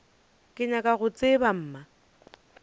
ke nyaka go tseba mma